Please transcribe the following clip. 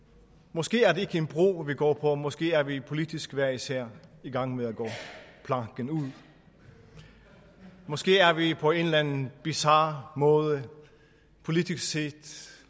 måske er det ikke en bro vi går på måske er vi politisk hver især i gang med at gå planken ud måske er vi på en eller anden bizar måde politisk set